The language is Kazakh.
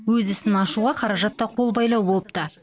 өз ісін ашуға қаражат та қолбайлау болыпты